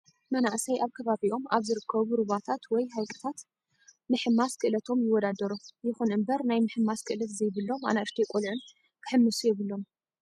መናእሰይ ኣብ ከባቢኦም ኣብ ዝርከቡ ሩባታት ወይ ሃይቅታት ምሕምስ ክእለቶም ይወዳደሩ። ይኹን እምበር ናይ ምህምስ ክእለት ዘይብሎም ኣናእሽተይ ቆልኡን ክሕምሱ የብሎም።